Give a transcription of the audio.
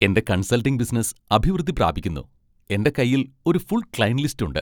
എന്റെ consulting business അഭിവൃദ്ധി പ്രാപിക്കുന്നു, എന്റെ കൈയിൽ ഒരു ഫുൾ ക്ലയന്റ് ലിസ്റ്റ് ഉണ്ട്.